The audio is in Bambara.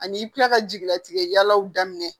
Ani i bi kila ka jigilatigɛ yalalaw daminɛ